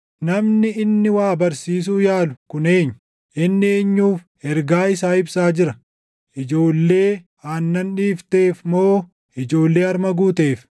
“Namni inni waa barsiisuu yaalu kun eenyu? Inni eenyuuf ergaa isaa ibsaa jira? Ijoollee aannan dhiifteef moo ijoollee harma guuteef?